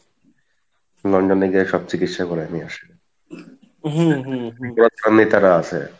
London এ গিয়ে সব চিকিৎসা করাই নিয়ে আসে